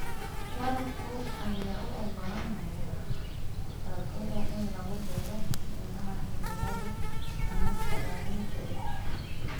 Waraabka ayaa u oggolaanaya dalagyada in lagu beero meelaha cimiladu aan la saadaalin karin.